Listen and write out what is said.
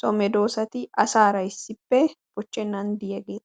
so medoossati asaara issippe bochchennan diyageeta.